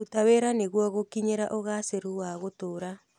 Ruta wĩra nĩguo gũkinyĩra ũgacĩĩru wa gũtũũra.